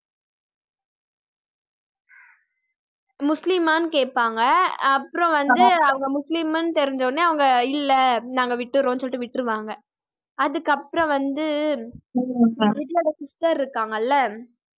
முஸ்லிமான்னு கேப்பாங்க அப்புறம் வந்து அவங்க முஸ்லிம்ன்னு தெரிஞ்ச உடனே அவங்க இல்ல நாங்க விட்டுரோம் சொல்லிட்டு விட்டுருவாங்க. அதுக்கு அப்புறம் வந்து விஜய்யோட sister இருக்காங்க இல்ல